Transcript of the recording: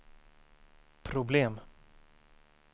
problem